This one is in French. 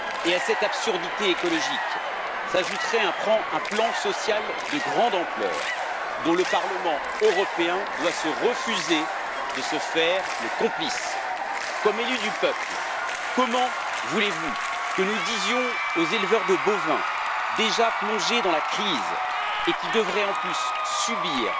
À cette absurdité écologique s'ajouterait un plan social de grande ampleur dont le Parlement européen doit refuser de se faire le complice. En tant qu'élus du peuple, comment voulez vous que nous disions aux éleveurs de bovins, déjà plongés dans la crise, qu'ils devraient en plus subir